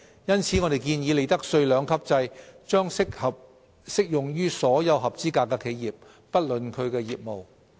因此，我們建議，利得稅兩級制將不論業務而適用於所有合資格企業。